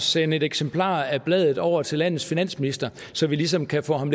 sende et eksemplar af bladet over til landets finansminister så vi ligesom kan få ham